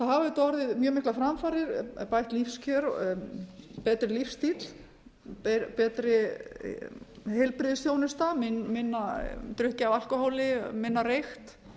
þetta er ótrúlega há tala það hafa auðvitað orðið mjög miklar framfarir bætt lífskjör betri lífsstíll betri heilbrigðisþjónusta minna drukkið af alkóhóli minna reykt